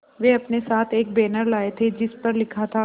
वे अपने साथ एक बैनर लाए थे जिस पर लिखा था